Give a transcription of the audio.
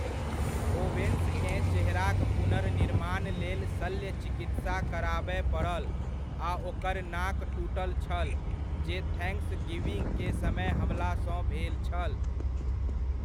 Owens केँ चेहराक पुनर्निर्माण लेल शल्य चिकित्सा कराबय पड़ल आ ओकर नाक टूटल छल जे थैंक्सगिविंग के समय हमला सँ भेल छल।